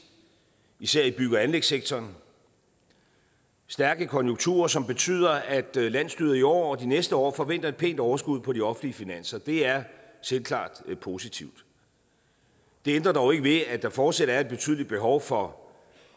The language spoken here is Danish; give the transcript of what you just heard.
især i bygge og anlægssektoren stærke konjunkturer som betyder at landsstyret i år og de næste år forventer et pænt overskud på de offentlige finanser det er selvklart positivt det ændrer dog ikke ved at der fortsat er et betydeligt behov for